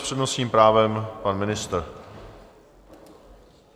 S přednostním právem pan ministr.